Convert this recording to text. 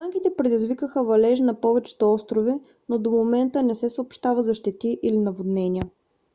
останките предизвикаха валежи на повечето острови но до момента не се съобщава за щети или наводнения